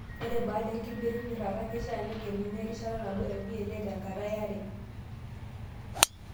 Ore baada enkibirribirata, keishaa negeluni erishata nabo e VLE tenkata e are